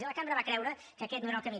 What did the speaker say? i la cambra va creure que aquest no era el camí